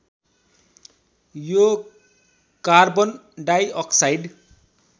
यो कार्बनडाईअक्साइड